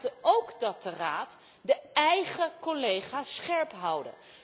We verwachten ook dat de Raad de eigen collega's scherp houdt.